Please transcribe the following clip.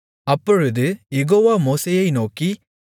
அப்பொழுது யெகோவா மோசேயை நோக்கி